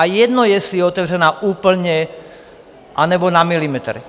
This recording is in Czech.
A je jedno, jestli je otevřená úplně, anebo na milimetr.